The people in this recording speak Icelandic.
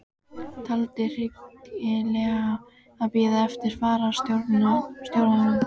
Taldi hyggilegra að bíða eftir fararstjóranum.